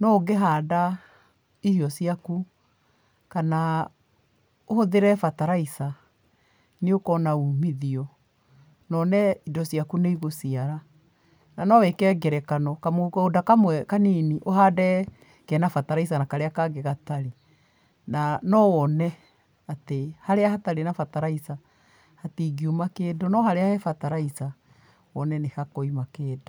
No ũngĩhanda irio ciaku, kana ũhũthĩre bataraitha, nĩ ũkoona umithio, wone indo ciaku nĩ igũciara, na no wĩke ngerekano, kamũgũnda kamwe kanini ũhande kena bataraitha na karĩa kangĩ gatarĩ, na no wone atĩ harĩa hatarĩ na bataraitha, hatingiuma kĩndũ, no harĩa he bataraitha wone nĩ hakoima kĩndũ.